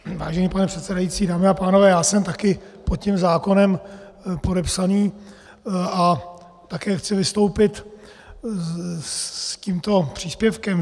Vážený pane předsedající, dámy a pánové, já jsem taky pod tím zákonem podepsaný a také chci vystoupit s tímto příspěvkem.